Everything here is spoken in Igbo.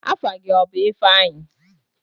Afa gị ọ bụ ifeanyi?